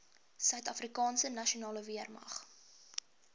suidafrikaanse nasionale weermag